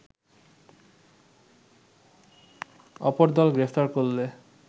অপরদল গ্রেফতার করলে